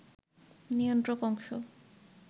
নিয়ন্ত্রক অংশ